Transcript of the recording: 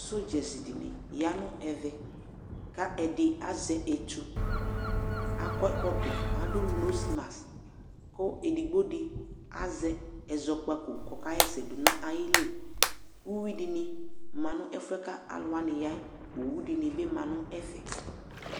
Sɔdzaɖini yaa nʋ ɛvɛ k'ɛɖi azɛ etʋ akɔ ɛkɔtɔ, k'aɖʋ nose mask, kʋ edigboɖi azɛ ɛzɔkpako k'ɔkaɣɛsɛ ɖʋ n'ayiliƲviɖini manu ɛfuɛ kʋ alʋwani yayɛ Owuɖi yaa nʋ ɛfɛ